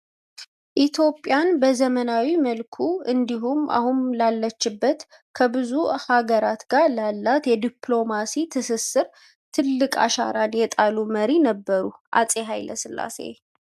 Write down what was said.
ኢትዮጵያን በዘመናዊ መልኩ እንዲሁም አሁን ላለችበት ከብዙ ሃገር ጋር ላላት የዲፕሎምሲ ትስስር ትልቅ አሻራን የጣሉ መሪ ነበሩ፤ አጼ ሃይለ ሥላሴ።